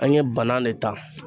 An ye bana ne ta.